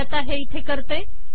मी आता हे इथे करते